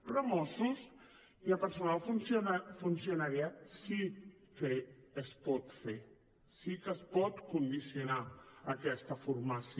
però a mossos i a personal funcionari sí que es pot fer sí que es pot condicionar aquesta formació